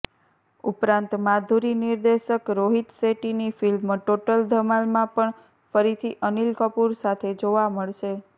ઉપરાંત માધુરિ નિર્દેશક રોહિત શેટ્ટીની ફિલ્મ ટોટલ ધમાલમાં પણ ફરીથી અનિલ કપૂર સાથે જોવા મળશે